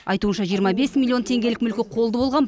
айтуынша жиырма бес миллион теңгелік мүлкі қолды болған